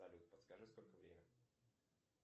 салют подскажи сколько время